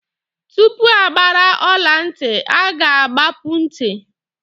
Tupu agbara ọla ntị, a ga-agbapu ntị.